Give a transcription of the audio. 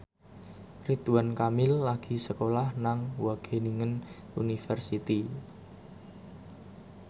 Ridwan Kamil lagi sekolah nang Wageningen University